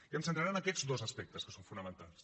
i em centraré en aquests dos aspectes que són fonamentals